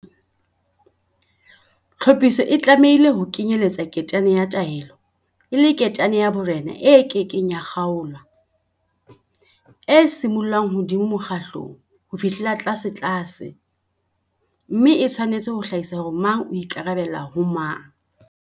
Tlhophiso e tlamehile ho kenyelletsa ketane-ya-taelo e le ketane ya borena e ke keng ya kgaolwa, e simollang hodimo mokgatlong ho fihlela tlasetlase, mme e tshwanetse ho hlahisa hore mang o ikarabella ho mang.